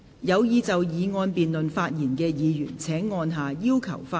有意就議案辯論發言的議員請按下"要求發言"按鈕。